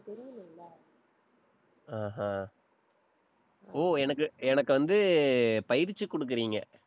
ஆஹ் அஹ் ஓ, எனக்கு, எனக்கு வந்து, பயிற்சி கொடுக்குறீங்க.